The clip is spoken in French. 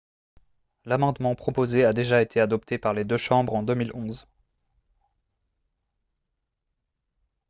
l'amendement proposé a déjà été adopté par les deux chambres en 2011